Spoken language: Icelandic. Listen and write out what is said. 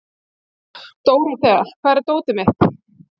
Dórothea, hvar er dótið mitt?